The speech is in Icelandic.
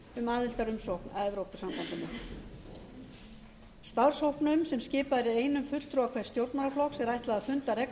um aðildarumsókn að evrópusambandinu starfshópnum sem skipaður er einum fulltrúa hvers stjórnmálaflokks er ætlað að funda